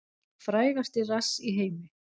Frægasti rass í heimi